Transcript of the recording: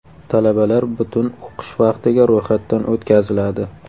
Talabalar butun o‘qish vaqtiga ro‘yxatdan o‘tkaziladi.